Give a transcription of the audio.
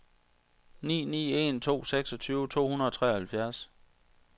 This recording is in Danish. ni ni en to seksogtyve to hundrede og treoghalvfjerds